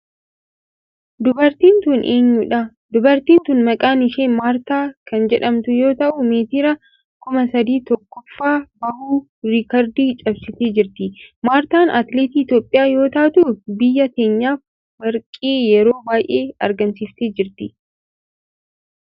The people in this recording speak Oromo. Dubartiin tun eenyudha? Dubartiin tun maqaan ishee Maartaa kan jedhamtu yoo ta'u meetira 3000 tokkoffaa bahuun riikardii cabsitee jirti. Maartaan atileetii Itiyoophiyaa yoo taatu biyya teenyaf warqee yeroo baayyee argamsiiftee jirti.